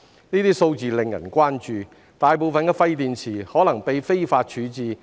該等數字令人關注，大部分廢電池可能被非法處置。